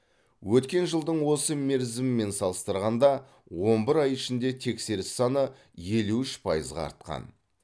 өткен жылдың осы мерзімімен салыстырғанда он бір ай ішінде тексеріс саны елу үш пайызға артқан